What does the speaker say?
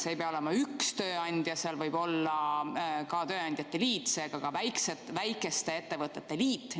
See ei pea olema üks tööandja, seal võib olla ka tööandjate liit, seega ka väikeste ettevõtete liit.